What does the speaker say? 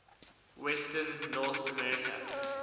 western north america